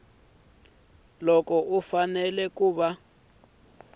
loko u fanele ku va